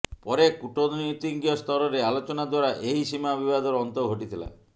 ପରେ କୂଟନୀତିଜ୍ଞସ୍ତରରେ ଆଲୋଚନା ଦ୍ୱାରା ଏହି ସୀମା ବିବାଦର ଅନ୍ତ ଘଟିଥିଲା